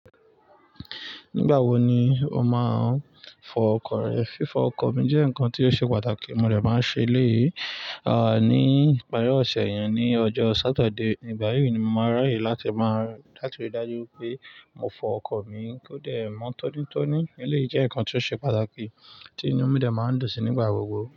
Nígbà wo ni o máa ń fọ ọkọ̀ rẹ? Fífọ ọkọ̀ mi jẹ́ nǹkan tí ó ṣe pàtàkì, mo dẹ̀ máa ń ṣe èléyìí, à ní ìparí ọ̀sẹ̀ yẹn ni ọjọ́ Saturday. Nígbà yí ni mo máa ráyè láti máa la tiri dájú pé mo fọ ọkọ̀ mi kó dẹ̀ mọ́ tọ́nítọ́ní. Eleyii jẹ́ ǹkan tí ó ṣe pàtàkì tí inú mi dẹ̀ máa ń dùnsí nígbà gbogbo.